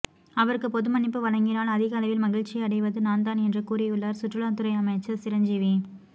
அவருக்கு பொது மன்னிப்பு வழங்கினால் அதிக அளவில் மகிழ்ச்சியடைவது நான்தான் என்று கூறியுள்ளார் சுற்றுலாத்துறை அமைச்சர் சிரஞ்சீவி